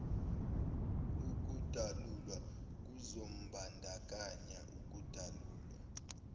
ukudalulwa kuzombandakanya ukudalulwa